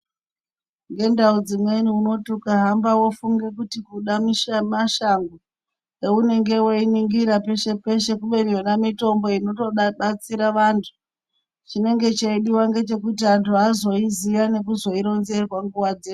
Ngendau dzimweni unoti ukahamba pamweni woti washango aunenge weiningira peshe peshe kubeni yona mitombo inotibatsira antu chinenge cheidiwa ndechekuti antu azoiziva nekuronzerwa nguwa dzese.